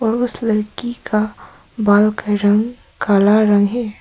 उस लड़की का बाल का रंग काला रंग है।